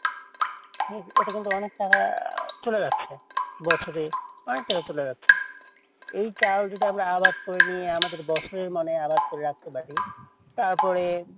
হ্যাঁ এটাতে কিন্তু অনেক টাকা অনেকটা চলে যাচ্ছে এই চাউল যদি আমরা আবাদ করে নিয়ে বছরে আবাদ করতে পারি তাহলে,